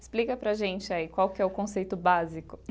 Explica para a gente aí qual que é o conceito básico.